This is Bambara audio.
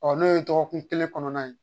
Ɔ n'o ye dɔgɔkun kelen kɔnɔna ye